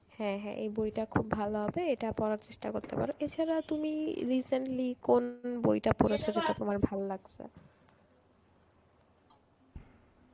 হ্যাঁ হ্যাঁ এই বইটা খুব ভালো হবে এটা পড়ার চেষ্টা করতে পারো তাছাড়া তুমি recently কোন বইটা পড়েছ সেটা তোমার ভাললাগছে?